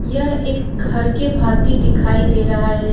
यह एक घर के भाति दिखाई दे रहा है।